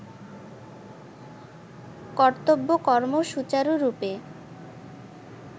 কর্তব্য কর্ম সূচারুরূপে